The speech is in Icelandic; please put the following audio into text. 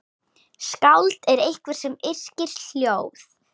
Skáld er einhver sem yrkir ljóð.